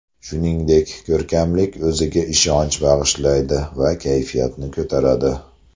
Shuningdek, ko‘rkamlik, o‘ziga ishonch bag‘ishlaydi va kayfiyatni ko‘taradi.